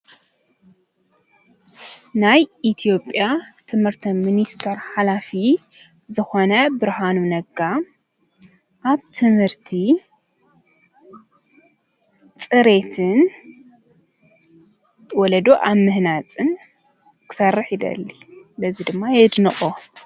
ናይ ኢትዮጵያ ትምርቲ ሚኒስተር ሓላፊ ዝኮነ ብርሃኑ ነጋ ኣብ ትምርቲ ፅሬትን ወለዶ ኣብ ምህናፅን ክሰርሕ ይደሊ በዚ ድማ የድንቆ።